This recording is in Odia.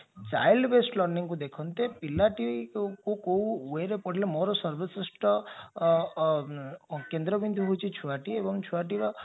child based learningକୁ ଦେଖାନ୍ତେ କଉ wayରେ ପଢିଲେ ମୋର କେନ୍ଦ୍ରବିନ୍ଦୁ ହେଉଛି ଛୁଆଟି ଏବଂ ଛୁଆଟିର